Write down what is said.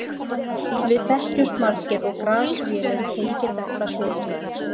Við þekkjumst margir og Grass-vélin tengir þetta svolítið.